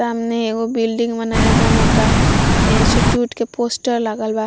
सामने एगो बिल्डिंग मे नया बनाता इंस्टिट्यूट का पोस्टर लागल बा।